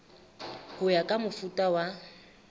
ho ya ka mofuta wa